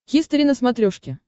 хистори на смотрешке